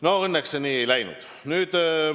No õnneks nii ei läinud.